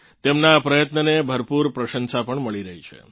તેમનાં આ પ્રયત્નને ભરપૂર પ્રશંસા પણ મળી રહી છે